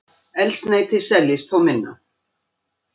Eldsneyti seljist þó minna